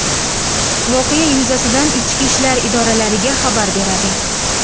voqea yuzasidan ichki ishlar idoralariga xabar beradi.